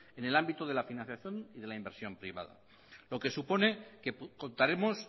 en el ámbito de la financiación y de la inversión privada lo que supone que contaremos